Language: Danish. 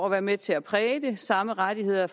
at være med til at præge det samme rettigheder